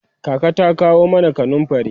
kaka ta kawo mana kanumfari